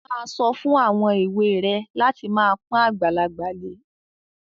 Má a sọ fún àwọn èwe rẹ láti máa pọ́n àgbàlagbà lé.